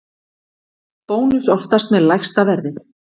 Bónus oftast með lægsta verðið